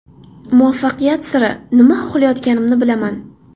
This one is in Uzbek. Muvaffaqiyat siri: Nima xohlayotganimni bilaman.